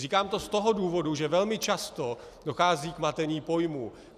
Říkám to z toho důvodu, že velmi často dochází k matení pojmů.